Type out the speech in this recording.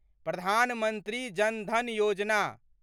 Pradhan Mantri Jan Dhan Yojana